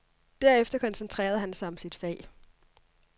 Derefter koncentrerede han sig om sit fag.